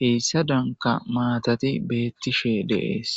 hessadanka maatati beetishe de'ees.